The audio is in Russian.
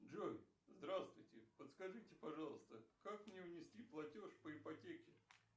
джой здравствуйте подскажите пожалуйста как мне внести платеж по ипотеке